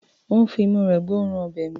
Ó ń fi imú rẹ̀ gbọ́ òórùn ọbẹ̀ mi.